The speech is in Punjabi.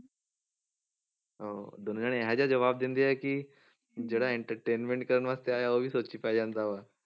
ਹਾਂ ਦੋਨੋਂ ਜਾਣੇ ਇਹ ਜਿਹਾ ਜਵਾਬ ਦਿੰਦੇ ਹੈ ਕਿ ਜਿਹੜਾ entertainment ਕਰਨ ਵਾਸਤੇ ਆਇਆ ਉਹ ਵੀ ਸੋਚ 'ਚ ਪੈ ਜਾਂਦਾ ਵਾ,